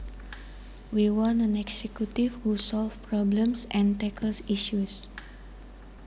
We want an executive who solves problems and tackles issues